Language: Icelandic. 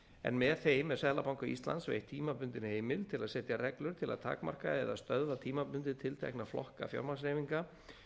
en með þeim er seðlabanka íslands veitt tímabundin heimild til að setja reglur til að takmarka eða stöðva tímabundið tiltekna flokka fjármagnshreyfinga